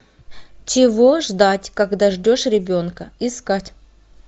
чего ждать когда ждешь ребенка искать